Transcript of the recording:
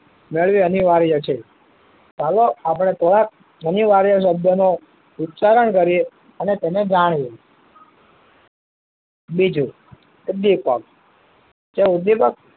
વળી અનિવાર્ય છે ચાલો આપડે થોડાક અનિવાર્ય શબ્દ નો ઉચ્ચારણ કરીએ અને તેને જાણીએ બીજું કે ઉપ્દીપ્ક કે ઉપ્દીપક